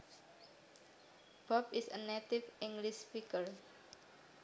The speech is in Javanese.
Bob is a native English speaker